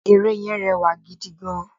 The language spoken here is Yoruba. Ère yẹn rẹwà gidi gan